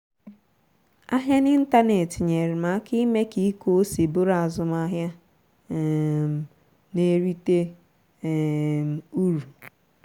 ahịa n'ịntanetị nyere m aka ime ka ịkụ ose bụrụ azụmahịa um na-erite um uru